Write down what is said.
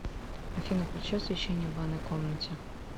афина включи освещение в ванной комнате